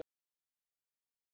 Sammála því?